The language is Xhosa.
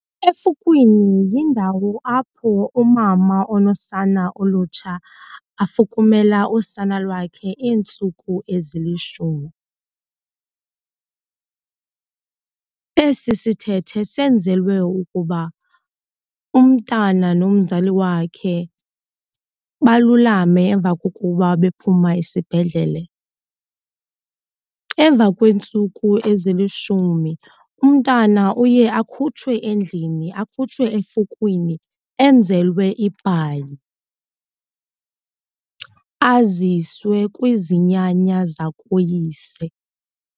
Efukwini yindawo apho umama onosana olutsha afukumela usana lwakhe iintsuku ezilishumi. Esi sithethe senzelwe ukuba umntana nomzali wakhe balulame emva kokuba bephuma esibhedlele. Emva kweentsuku ezilishumi umntana uye akhutshwe endlini, akhutshwe efukwini, enzelwe ibhayi aziswe kwizinyanya zakoyise.